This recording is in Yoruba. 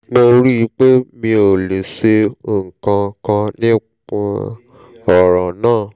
mo rí i pé mi ò lè ṣe nǹkan kan nípa ọ̀ràn náà